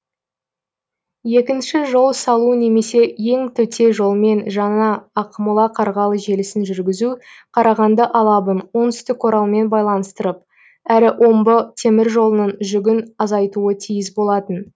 екінші жол салу немесе ең төте жолмен жаңа ақмола қарғалы желісін жүргізу қарағанды алабын оңтүстік оралмен байланыстырып әрі омбы теміржолының жүгін азайтуы тиіс болатын